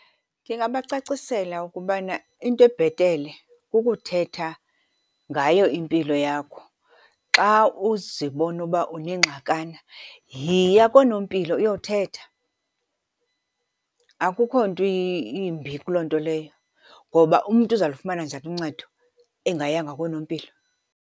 Ndingabacacisela ukubana into ebhetele kukuthetha ngayo impilo yakho. Xa uzibona uba unengxakana yiya koo nompilo uyothetha, akukho nto imbi kuloo nto leyo. Ngoba umntu uza lufumana njani uncedo engayanga koonompilo?.